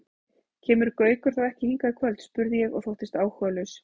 Kemur Gaukur þá ekki hingað í kvöld? spurði ég og þóttist áhugalaus.